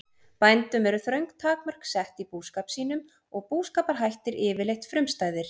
Bændum eru þröng takmörk sett í búskap sínum og búskaparhættir yfirleitt frumstæðir.